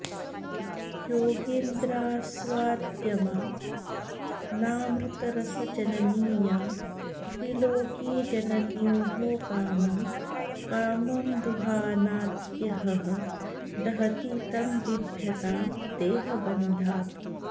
योगीन्द्रास्वाद्यमानामृतरसजननी या त्रिलोकीजनन्योः कामं कामं दुहानात्यहह दहति तं बिभ्यतां देहबन्धात्